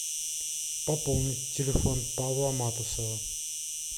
пополнить телефон павла матусова